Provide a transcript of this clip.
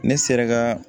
Ne sera ka